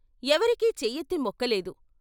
ఎవరికీ చేయెత్తి మొక్కలేదు.